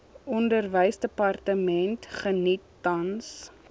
onderwysdepartement geniet tans